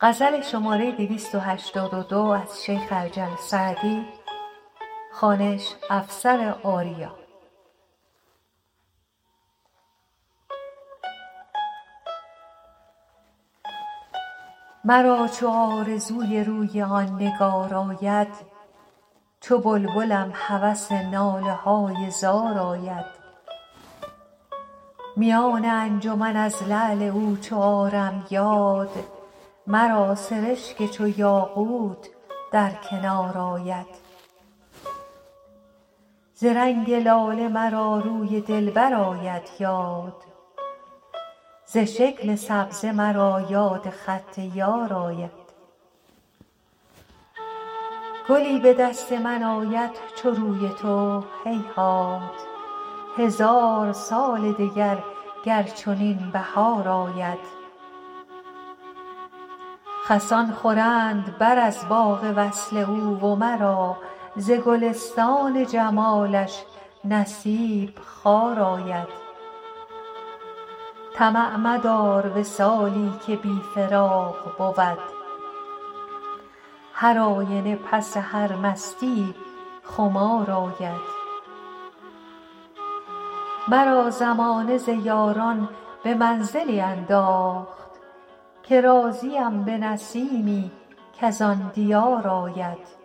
مرا چو آرزوی روی آن نگار آید چو بلبلم هوس ناله های زار آید میان انجمن از لعل او چو آرم یاد مرا سرشک چو یاقوت در کنار آید ز رنگ لاله مرا روی دلبر آید یاد ز شکل سبزه مرا یاد خط یار آید گلی به دست من آید چو روی تو هیهات هزار سال دگر گر چنین بهار آید خسان خورند بر از باغ وصل او و مرا ز گلستان جمالش نصیب خار آید طمع مدار وصالی که بی فراق بود هرآینه پس هر مستیی خمار آید مرا زمانه ز یاران به منزلی انداخت که راضیم به نسیمی کز آن دیار آید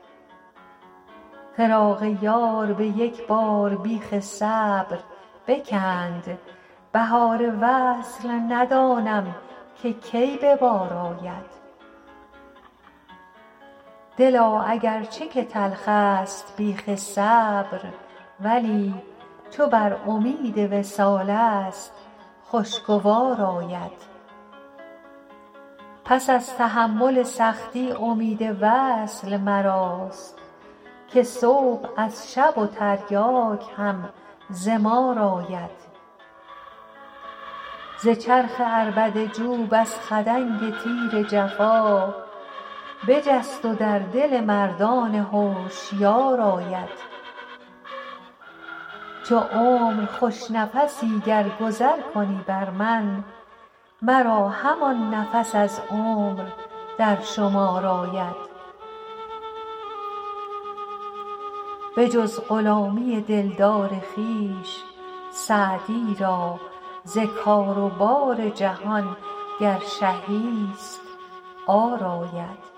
فراق یار به یک بار بیخ صبر بکند بهار وصل ندانم که کی به بار آید دلا اگر چه که تلخست بیخ صبر ولی چو بر امید وصالست خوشگوار آید پس از تحمل سختی امید وصل مراست که صبح از شب و تریاک هم ز مار آید ز چرخ عربده جو بس خدنگ تیر جفا بجست و در دل مردان هوشیار آید چو عمر خوش نفسی گر گذر کنی بر من مرا همان نفس از عمر در شمار آید بجز غلامی دلدار خویش سعدی را ز کار و بار جهان گر شهی ست عار آید